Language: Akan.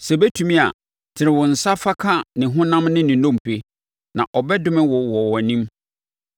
Sɛ ɛbɛtumi a tene wo nsa fa ka ne honam ne ne nnompe, na ɔbɛdome wo wɔ wʼanim!”